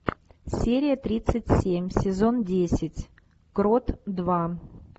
серия тридцать семь сезон десять крот два